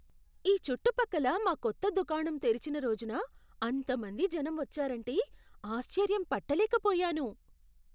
ఈ చుట్టుపక్కల మా కొత్త దుకాణం తెరిచిన రోజున అంతమంది జనం వచ్చారంటే ఆశ్చర్యం పట్టలేకపోయాను..